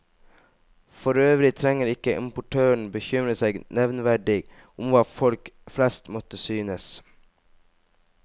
Forøvrig trenger ikke importøren bekymre seg nevneverdig om hva folk flest måtte synes.